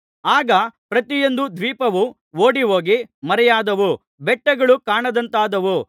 ಆಗ ಪ್ರತಿಯೊಂದು ದ್ವೀಪವು ಓಡಿಹೋಗಿ ಮರೆಯಾದವು ಬೆಟ್ಟಗಳು ಕಾಣದಂತಾದವು